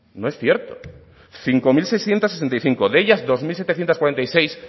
no es cierto cinco mil seiscientos sesenta y cinco de ellas dos mil setecientos cuarenta y seis